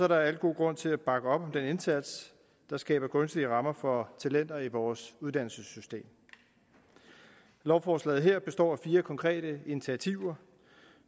der al god grund til at bakke op om den indsats der skaber gunstige rammer for talenter i vores uddannelsessystem lovforslaget her består af fire konkrete initiativer